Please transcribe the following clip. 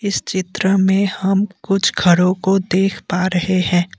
इस चित्र में हम कुछ घरों को देख पा रहे हैं।